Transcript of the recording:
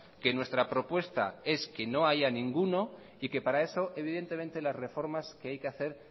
que nuestra propuesta es que no haya ninguno y que para eso evidentemente las reformas que hay que hacer